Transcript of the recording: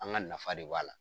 An ka nafa de b'a la.